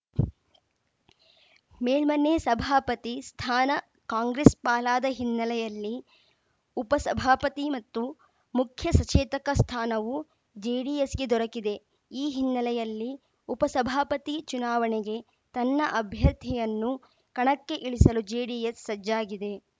ಮೇಲ್ಮನೆ ಸಭಾಪತಿ ಸ್ಥಾನ ಕಾಂಗ್ರೆಸ್‌ ಪಾಲಾದ ಹಿನ್ನೆಲೆಯಲ್ಲಿ ಉಪಸಭಾಪತಿ ಮತ್ತು ಮುಖ್ಯಸಚೇತಕ ಸ್ಥಾನವು ಜೆಡಿಎಸ್‌ಗೆ ದೊರಕಿದೆ ಈ ಹಿನ್ನೆಲೆಯಲ್ಲಿ ಉಪ ಸಭಾಪತಿ ಚುನಾವಣೆಗೆ ತನ್ನ ಅಭ್ಯರ್ಥಿಯನ್ನು ಕಣಕ್ಕೆ ಇಳಿಸಲು ಜೆಡಿಎಸ್‌ ಸಜ್ಜಾಗಿದೆ